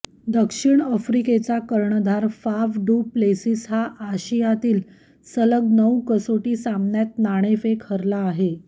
दक्षिण आफ्रिकेचा कर्णधार फाफ डू प्लेसिस हा आशियातील सलग नऊ कसोटी सामन्यात नाणेफेक हरला आहे